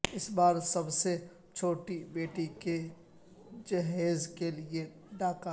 اس بار سب سے چھوٹی بیٹی کے جہیز کیلیے ڈاکہ